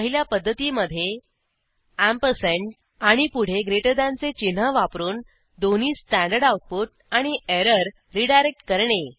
पहिल्या पध्दतीमधे अँपरसँड आणि पुढे ग्रेटर दॅनचे चिन्ह वापरून दोन्ही स्टँडर्ड आऊटपुट आणि एरर रीडायरेक्ट करणे